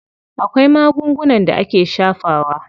Akwai magungunan da ake shafawa.